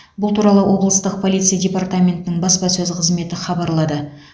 бұл туралы облыстық полиция департаментінің баспасөз қызметі хабарлады